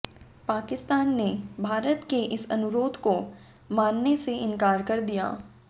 पाकिस्तान ने भारत के इस अनुरोध को मानने से इनकार कर दिया